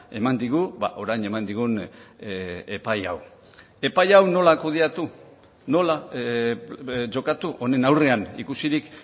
eman digu orain eman digun epai hau epai hau nola kudeatu nola jokatu honen aurrean ikusirik